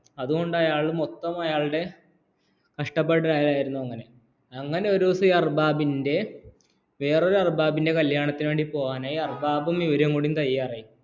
അതുകൊണ്ട് അയാള്‍ അയാളുടെ മൊത്ത കഷ്ടപ്പെടല്‍ ആയിരുന്നു അങ്ങനെ ഒരു ദിവസം ഈ അര്ബാബിന്റെ വേറൊരു അര്ബാബിന്റെഅറബാബിറെ കല്യാണത്തിന് വേണ്ടിപോകനായ് അര്ബബൂ ഇവരും കൂടി തയ്യാറായി